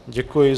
Děkuji.